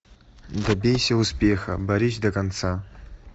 добейся успеха борись до конца